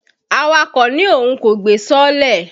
Awakọ̀ ní Òun kò gbé sọọ́lẹ̀.